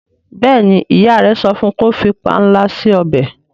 béèni ìyá rẹ sọfún kò fí panla si ọbẹ.